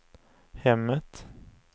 hemmet